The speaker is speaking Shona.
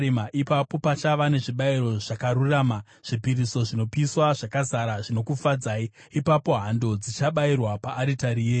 Ipapo pachava nezvibayiro zvakarurama, zvipiriso zvinopiswa zvakazara zvinokufadzai; ipapo hando dzichabayirwa paaritari yenyu.